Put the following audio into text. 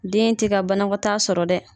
Den tɛ ka banakɔtaa sɔrɔ dɛ.